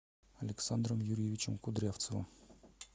александром юрьевичем кудрявцевым